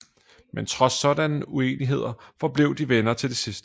Men trods sådanne uenigheder forblev de venner til det sidste